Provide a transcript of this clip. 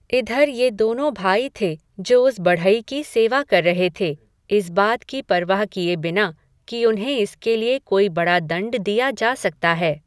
इधर ये दोनों भाई थे जो उस बढ़ई की सेवा कर रहे थे, इस बात की परवाह किए बिना कि उन्हें इसके लिए कोई बड़ा दंड दिया जा सकता है।